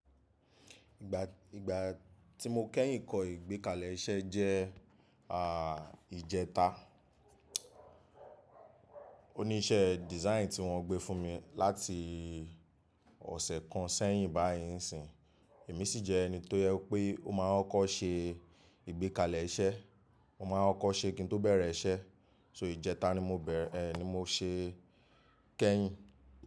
Ìgbà, ìgbà tí mo kẹ́yìn kọ́ ìgbékalẹ̀ iṣẹ́ jẹ́ à ìjẹta. Ó ní iṣẹ́ design tí wọ́n gbé fún mi láti ọ̀sẹ̀ kan sẹ́yìn báyìí ńi sìn. Èmi sì jẹ́ ẹni tó jẹ wipé ó máa ń kọ́ko se ìgbékalẹ̀ iṣẹ́, ó máa ń kọ́ko se kí n tó bẹ̀rẹ̀ iṣẹ́. So ìjẹta ni mo bẹ̀rẹ ni mo ṣe kẹ́yìn.